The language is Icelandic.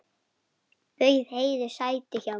Bauð Heiðu sæti hjá mér.